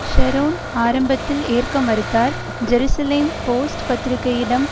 Sharon ஆரம்பத்தில் ஏற்க மறுத்தார் ஜெருசலேம் போஸ்ட் பத்திரிகையிடம்